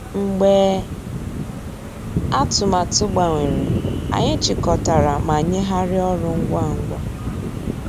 Mgbeé àtụ̀màtụ́ gbànwèrè, ànyị́ chị́kọ̀tàrà má nyéghàríá ọ́rụ́ ngwá ngwá.